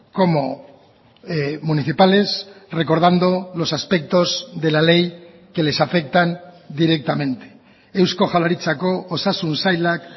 como municipales recordando los aspectos de la ley que les afectan directamente eusko jaurlaritzako osasun sailak